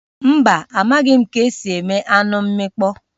Mba, amaghị ka-esi eme anụ mmịkpọ